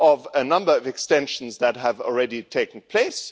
a number of extensions that have already taken place.